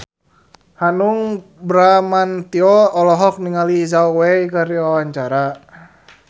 Hanung Bramantyo olohok ningali Zhao Wei keur diwawancara